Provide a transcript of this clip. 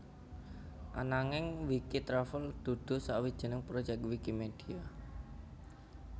Ananging Wikitravel dudu sawijining proyek Wikimedia